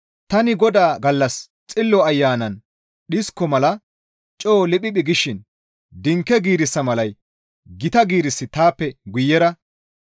Tani Godaa gallas Xillo Ayanan dhisko mala coo liphiphi gishin dinke giirissa malay gita giirissi taappe guyera,